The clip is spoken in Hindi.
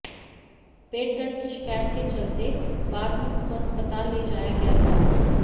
पेट दर्द की शिकायत के चलते बाद में उनको अस्पताल ले जाया गया था